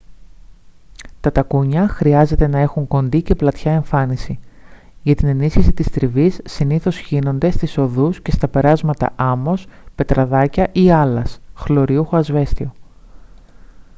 τα τακούνια χρειάζεται να έχουν κοντή και πλατιά εμφάνιση. για την ενίσχυση της τριβής συνήθως χύνονται στις οδούς και στα περάσματα άμμος πετραδάκια ή άλας χλωριούχο ασβέστιο